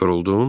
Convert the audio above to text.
Yoruldun?